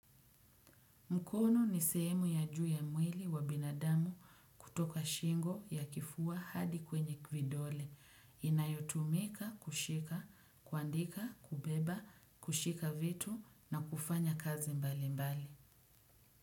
Mkono ni sehemu ya juu ya mwili wa binadamu kutoka shingo ya kifua hadi kwenye vidole. Inayotumika, kushika, kuandika, kubeba, kushika vitu na kufanya kazi mbalimbali.